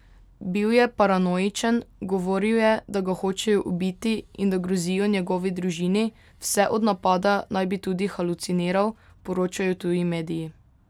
Bil je paranoičen, govoril je, da ga hočejo ubiti in da grozijo njegovi družini, vse od napada naj bi bil tudi haluciniral, poročajo tuji mediji.